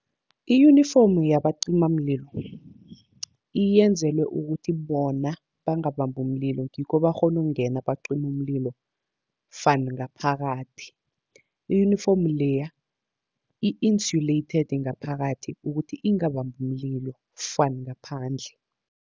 I-uniform yabacimamlilo yenzelwe ukuthi bona bangabambi umlilo, ngikho bakghona ukungena bacime umlilo van ngaphakathi. I-uniform leya i-insulated ngaphakathi ukuthi ingabambi umlilo van ngaphandle